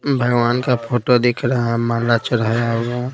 भगवान का फोटो दिख रहा है माला चढ़ाया हु--